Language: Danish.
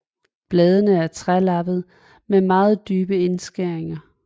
Bladene er trelappede med meget dybe indskæringer